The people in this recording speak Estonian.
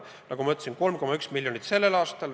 Nagu ma ütlesin, 3,1 miljonit eurot on eraldatud sellel aastal.